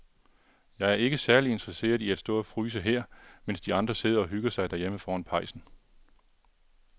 Jeg er ikke særlig interesseret i at stå og fryse her, mens de andre sidder og hygger sig derhjemme foran pejsen.